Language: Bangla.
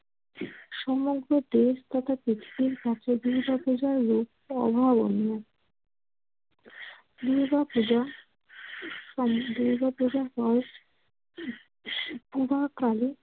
সমগ্র দেশ তথা পৃথিবীর স্বার্থে দুর্গাপূজার রূপ অভাবনীয়। দুর্গাপূজা দুর্গাপূজা হয় পুরাকালে।